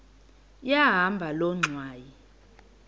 yahamba loo ngxwayi